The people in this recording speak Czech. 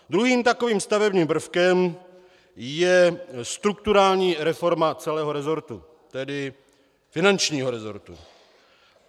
Druhým takovým stavebním prvkem je strukturální reforma celého resortu, tedy finančního resortu.